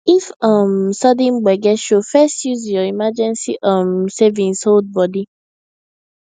if um sudden gbege show first use your emergency um savings hold body